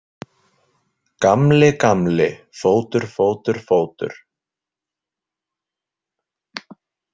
Gamli, gamli, fótur, fótur, fótur.